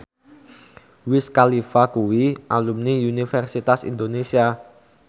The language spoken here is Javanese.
Wiz Khalifa kuwi alumni Universitas Indonesia